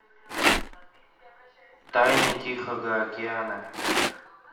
тайны тихого океана